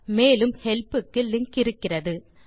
மேலும் ஹெல்ப் க்கு லிங்க் இருக்கிறது